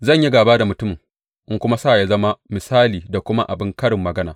Zan yi gāba da mutumin in kuma sa ya zama misali da kuma abin karin magana.